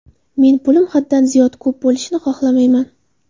Men pulim haddan ziyod ko‘p bo‘lishini xohlamayman.